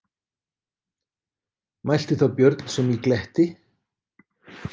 Mælti þá Björn sem í gletti: